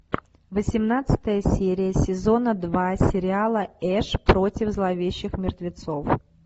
восемнадцатая серия сезона два сериала эш против зловещих мертвецов